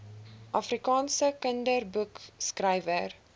afrikaanse kinderboekskrywer